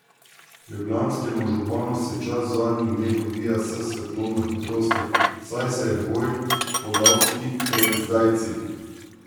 Ljubljanskemu županu se čas v zadnjih dneh odvija s svetlobno hitrostjo, saj se je v boj podal tik pred zdajci.